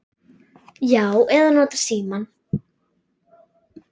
Já. eða notað símann.